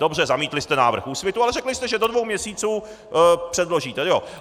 Dobře, zamítli jste návrh Úsvitu, ale řekli jste, že do dvou měsíců předložíte.